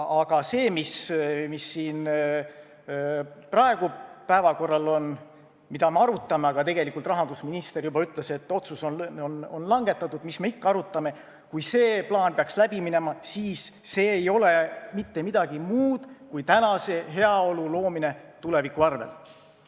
Aga see, mis siin praegu päevakorral on, mida me arutame – tegelikult rahandusminister juba ütles, et otsus on langetatud, mis me ikka arutame –, kui see plaan peaks läbi minema, siis see ei ole mitte midagi muud kui tänase heaolu loomine tuleviku arvel.